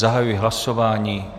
Zahajuji hlasování.